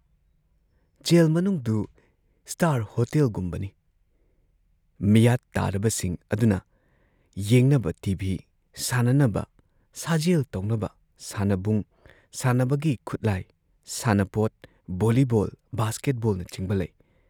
Gel ꯃꯅꯨꯡꯗꯨ star ꯍꯣꯇꯦꯜꯒꯨꯝꯕꯅꯤ, ꯃꯤꯌꯥꯠ ꯇꯥꯔꯕꯁꯤꯡ ꯑꯗꯨꯅ ꯌꯦꯡꯅꯕ ꯇꯤ ꯚꯤ, ꯁꯥꯟꯅꯅꯕ, ꯁꯥꯖꯦꯜ ꯇꯧꯅꯕ ꯁꯥꯟꯅꯕꯨꯡ, ꯁꯥꯟꯅꯕꯒꯤ ꯈꯨꯠꯂꯥꯏ, ꯁꯥꯟꯅꯄꯣꯠ‑ ꯚꯣꯜꯂꯤꯕꯣꯜ ꯕꯥꯁꯀꯦꯠꯕꯣꯜꯅꯆꯤꯡꯕ ꯂꯩ ꯫